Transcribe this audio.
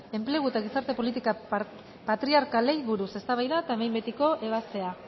enplegu eta gizarte politika patriarkalei buruz eztabaida eta behin betiko ebaztea